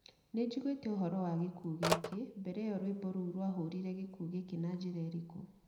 Nĩnjiguĩte ũhoro wa gĩkuũ gĩkĩ mbere ĩyo rwĩmbo rũu rwahũrire gĩkuũ gĩkĩ na njĩra ĩrĩkũ?